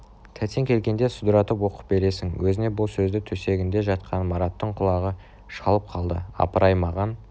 тәтең келгенде судыратып оқып бересің өзіне бұл сөзді төсегінде жатқан мараттың құлағы шалып қалды апыр-ай маған